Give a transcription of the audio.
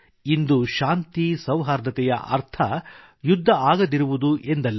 ಇಂದು ಶಾಂತಿ ಸೌಹಾರ್ದತೆಯ ಅರ್ಥ ಯುದ್ಧ ಆಗದಿರುವುದು ಎಂದಲ್ಲ